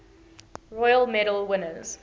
royal medal winners